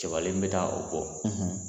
Cɛbalen n bɛ taa o bɔ